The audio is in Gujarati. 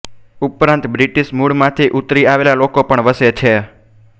ઉપરાંત બ્રિટિશ મૂળમાંથી ઉતરી આવેલા લોકો પણ વસે છે